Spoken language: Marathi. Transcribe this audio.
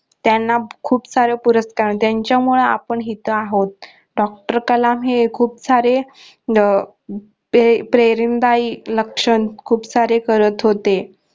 त्यांना खूप सारे पुरस्कार त्यांच्यामुळे आपण इथ आहोत doctor कलाम हे खूप सारे अह प्रेरीनदायी लक्षण खूप सारे करत होते.